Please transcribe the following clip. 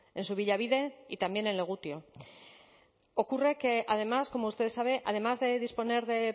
en subillabide y también en legutio ocurre que además como usted sabe además de disponer de